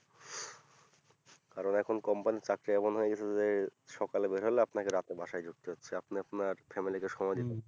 কারন এখন company র চাকরি এমন হয়েগেছে যে সকালে বের হলাম আপনাকে রাতে বাসায় ঢুকতে হচ্ছে আপনি আপনার family কে সময়